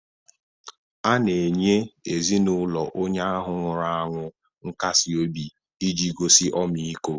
A na-enye ezinaụlọ onye ahụ nwụrụ anwụ nkasi obi iji gosi ọmịiko.